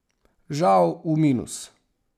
Žal v minus.